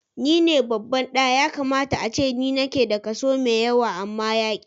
Ni ne babban ɗa, ya kamata ace ni nake da kaso mai yawa amma yaƙi.